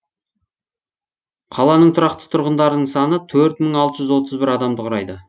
қаланың тұрақты тұрғындарының саны төрт мың алты жүз отыз бір адамды құрайды